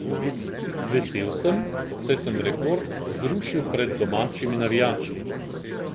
Vesel sem, saj sem rekord zrušil pred domačimi navijači.